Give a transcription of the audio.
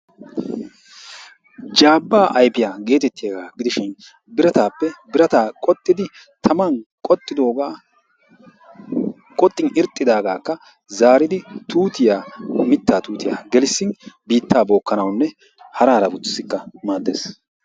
Zaabbaa ayfiya geetettiyaga gidishin birataappe birataa qoxxidi taman qoxxidoogaa qoxxin irxxidaagaakka zaaridi tuutiya mittaa tuutiya gelissin biittaa bookkanawunne hara harabatussikka maaddes.